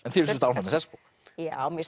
þið eruð ánægð með þessa bók já mér